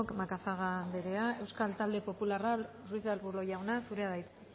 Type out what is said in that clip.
macazaga andrea euskal talde popularra ruiz de arbulo jauna zurea da hitza